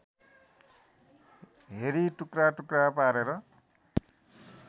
हेरी टुक्राटुक्रा पारेर